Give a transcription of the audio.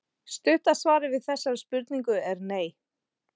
Stutta svarið við þessari spurningu er nei.